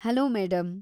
Hello madam.